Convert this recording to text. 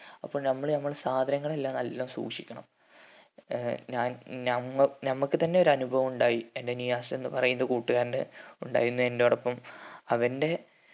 അപ്പോ നമ്മള് നമ്മളെ സാധനങ്ങൾ എല്ലാം നല്ലോണം സൂക്ഷിക്കണം ഏർ ഞാൻ നമ്മ നമ്മക്ക് തന്നെ ഒരനുഭവം ഉണ്ടായി എന്റെ നിയാസ് എന്ന് പറയുന്ന കൂട്ടുകാരന്റെ ഉണ്ടായി എന്നോടൊപ്പം അവന്റെ